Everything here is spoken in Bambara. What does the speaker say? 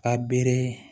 A bere